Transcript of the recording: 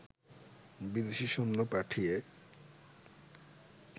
বিদেশি সৈন্য পাঠিয়ে